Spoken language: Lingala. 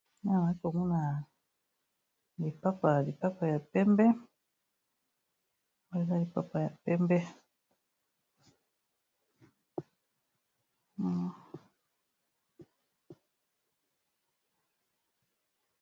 Awa nazomona lipapa, lipapa ya pembe eza lipapa ya pembe.